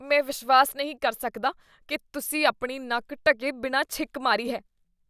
ਮੈਂ ਵਿਸ਼ਵਾਸ ਨਹੀਂ ਕਰ ਸਕਦਾ ਕੀ ਤੁਸੀਂ ਆਪਣੀ ਨੱਕ ਢੱਕੇ ਬਿਨਾਂ ਛਿੱਕ ਮਾਰੀ ਹੈ।